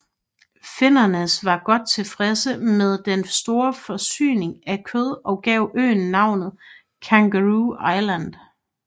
Flinders var godt tilfreds med den store forsyning af kød og gav øen navnet Kangaroo Island